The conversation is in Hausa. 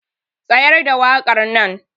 Tsayar da wakar nan.